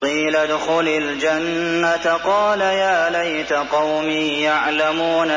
قِيلَ ادْخُلِ الْجَنَّةَ ۖ قَالَ يَا لَيْتَ قَوْمِي يَعْلَمُونَ